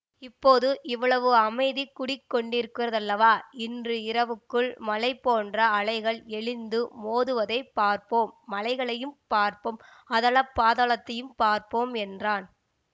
இப்போது இவ்வளவு அமைதி குடி கொண்டிருக்கிறதல்லவா இன்று இரவுக்குள் மலை போன்ற அலைகள் எழுந்து மோதுவதைப் பார்ப்போம் மலைகளையும் பார்ப்போம் அதல பாதாளத்தையும் பார்ப்போம் என்றான்